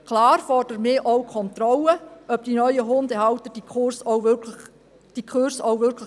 Klar fordern wir auch Kontrollen, ob die neuen Hundehalter die Kurse auch wirklich besuchen.